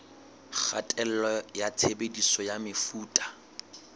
kgatello ya tshebediso ya mefuta